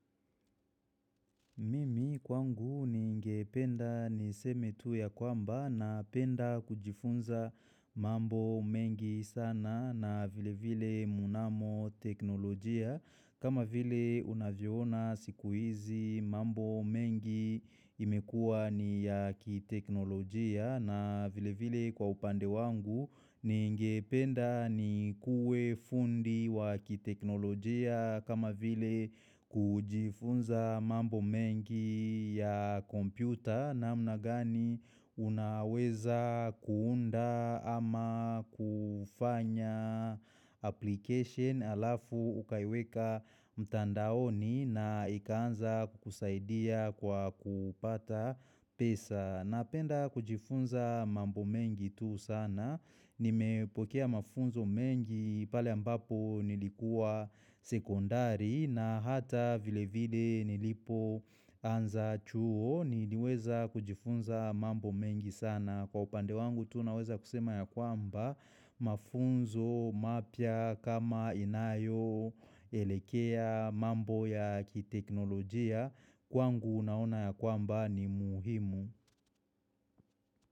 Mimi kwangu ningependa niseme tu ya kwamba na penda kujifunza mambo mengi sana na vile vile munamo teknolojia. Kama vile unaviona sikuizi mambo mengi imekua ni ya ki teknolojia na vile vile kwa upande wangu, ningependa nikuwe fundi wa ki teknolojia. Kama vile kujifunza mambo mengi ya kompyuta na mna gani unaweza kuunda ama kufanya application alafu ukaiweka mtandaoni na ikaanza kukusaidia kwa kupata pesa. Napenda kujifunza mambo mengi tu sana, nimepokea mafunzo mengi pale ambapo nilikuwa sekondari na hata vile vile nilipo anza chuo niliweza kujifunza mambo mengi sana. Kwa upande wangu tu naweza kusema ya kwamba mafunzo mapia kama inayo elekea mambo ya kiteknolojia kwangu unaona ya kwamba ni muhimu.